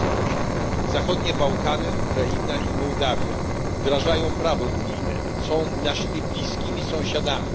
28. Zachodnie Bałkany, Ukraina i Mołdawia wdrażają prawo unijne. Są naszymi bliskimi sąsiadami.